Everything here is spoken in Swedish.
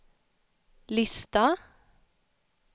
lista